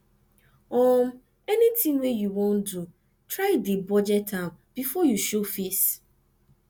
um anytin wey yu wan do try dey budget am bifor yu show face